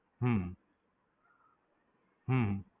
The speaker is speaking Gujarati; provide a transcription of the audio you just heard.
હમ